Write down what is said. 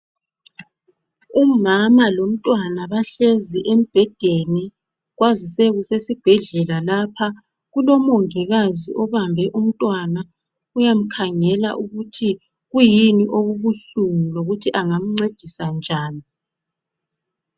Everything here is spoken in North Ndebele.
Umama lomntwana bahlezi embhedeni. Kwazise kusesibhedlela lapha. Kulomongikazi obambe umntwana uyamkhangela ukuthi kuyini okubuhlungu lokuthi angamncedisa njani.